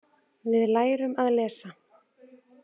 Við lærum að lesa.